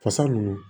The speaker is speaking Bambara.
Fasa ninnu